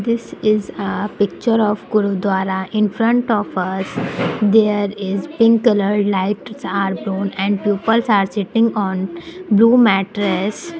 this is a picture of guruduwara infront of aa there is pink colour light are blown and peoples are sitting on blue mattress.